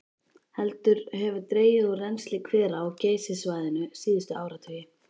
Heldur hefur dregið úr rennsli hvera á Geysissvæðinu síðustu áratugi.